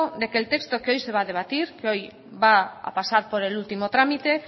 de que el texto que hoy se va a debatir que hoy va a pasar por el ultimo trámite